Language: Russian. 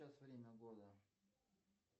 время года